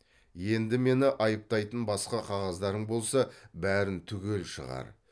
енді мені айыптайтын басқа қағаздарың болса бәрін түгел шығар